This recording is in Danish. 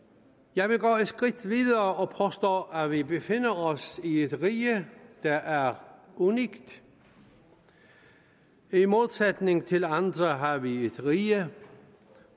jeg vil gå et skridt videre og påstå at vi befinder os i et rige der er unikt i modsætning til andre har vi et rige